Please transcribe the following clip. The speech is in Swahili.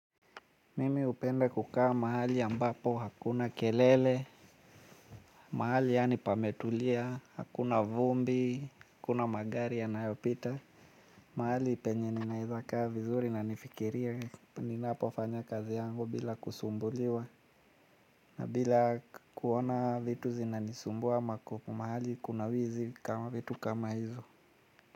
Mimi hupenda kukaa mahali ambapo hakuna kelele, mahali yaani pametulia, hakuna vumbi, hakuna magari ya nayopita. Mahali penye ninaeza kaa vizuri na nifikirie ninapo fanya kazi yangu bila kusumbuliwa. Na bila kuona vitu zinanisumbua mahali kuna wizi kama vitu kama hizo.